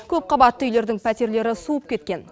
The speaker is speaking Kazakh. көпқабатты үйлердің пәтерлері суып кеткен